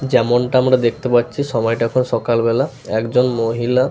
যেমনটা আমরা দেখতে পাচ্ছি সময়টা এখন সকালবেলা একজন মহিলা --